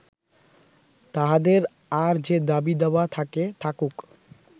তাঁহাদের আর যে দাবি দাওয়া থাকে থাকুক